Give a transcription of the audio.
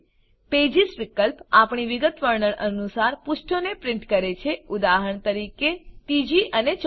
pages વિકલ્પ આપણી વિગતવર્ણન અનુસાર પુષ્ઠોને પ્રીંટ કરે છે ઉદાહરણ તરીકે ૩ ૪